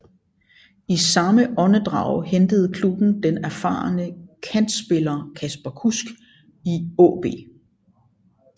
I samme åndedrag hentede klubben den erfarne kantspiller Kasper Kusk i AaB